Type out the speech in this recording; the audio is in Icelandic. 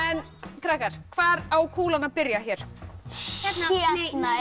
krakkar hvar á kúlan að byrja hér hérna nei